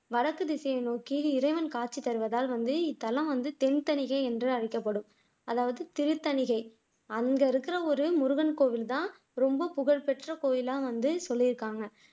வடக்கு திசையை நோக்கி இறைவன் காட்சி தருவதால் வந்து இத்தலம் வந்து திருத்தணிகை என்று அழைக்கப்படும் அதாவது திருத்தணிகை அங்க இருக்கிற ஒரு முருகன் கோவில்தான் ரொம்ப புகழ்பெற்ற கோவிலா வந்து சொல்லியிருக்காங்க